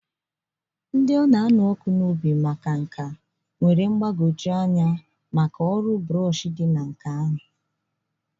Ndị na-anụ ọkụ n'obi na-enwe mmasị na brush dị mgbagwoju anya nke ọkachamara.